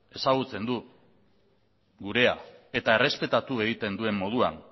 ezagutzen du gurea eta errespetatu egiten duen moduan